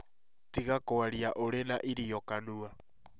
Tiga kwaria ũrĩ na irio kanua